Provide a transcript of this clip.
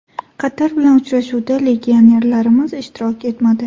Qatar bilan uchrashuvda legionerlarimiz ishtirok etmadi.